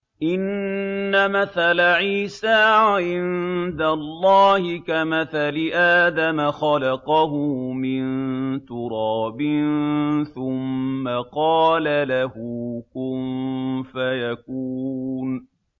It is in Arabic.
إِنَّ مَثَلَ عِيسَىٰ عِندَ اللَّهِ كَمَثَلِ آدَمَ ۖ خَلَقَهُ مِن تُرَابٍ ثُمَّ قَالَ لَهُ كُن فَيَكُونُ